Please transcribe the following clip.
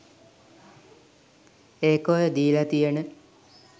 ඒක ඔය දීලා තියන